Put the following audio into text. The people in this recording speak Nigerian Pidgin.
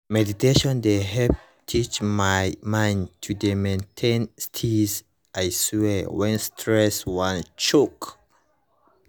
meditation dey help teach my mind to dey maintain steeze i swear when stress wan choke